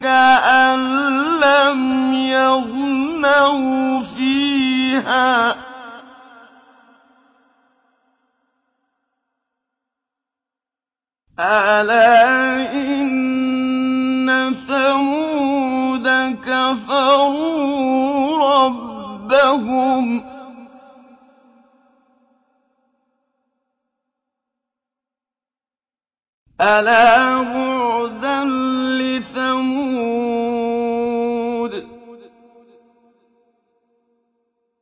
كَأَن لَّمْ يَغْنَوْا فِيهَا ۗ أَلَا إِنَّ ثَمُودَ كَفَرُوا رَبَّهُمْ ۗ أَلَا بُعْدًا لِّثَمُودَ